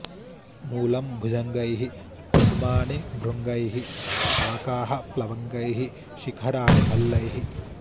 मूलं भुजङ्गैः कुसुमानि भृङ्गैः शाखाः प्लवङ्गैः शिखराणि भल्लैः